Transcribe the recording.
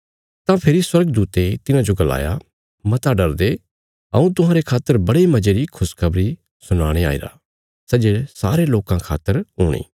तां फेरी स्वर्गदूते तिन्हाजो गलाया मता डरदे हऊँ तुहांरे खातर बड़े मजे री खुशखबरी सुनाणे आईरा सै जे सारे लोकां खातर हूणी